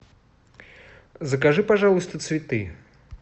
закажи пожалуйста цветы